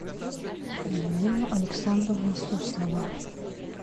елена александровна суслова